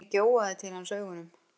Högni gjóaði til hans augunum.